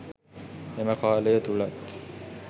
එම කාලය තුළත්